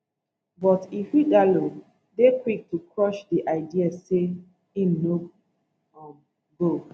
but ighodalo dey quick to crush di idea say im no um go